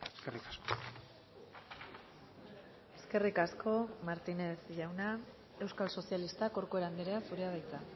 eskerrik asko eskerrik asko martínez jauna euskal sozialistak corcuera andrea zurea da hitza